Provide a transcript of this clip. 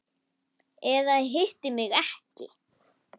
Eða hitti mig ekki.